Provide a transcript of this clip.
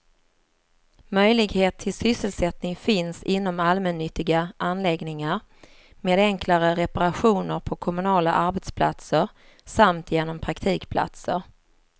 Möjlighet till sysselsättning finns inom allmännyttiga anläggningar, med enklare reparationer på kommunala arbetsplatser samt genom praktikplatser.